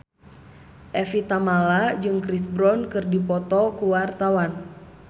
Evie Tamala jeung Chris Brown keur dipoto ku wartawan